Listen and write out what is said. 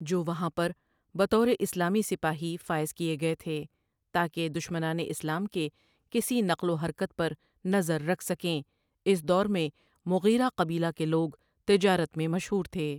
جو وہاں پر بطور اسلامی سپاہی فائز کیے گئے تھے تا کہ دشمنانِ اسلام کے کسی نقل و حرکت پر نظر رکھ سکیں اس دور میں مغیرہ قبیلہ کے لوگ تجارت میں مشہور تھے ۔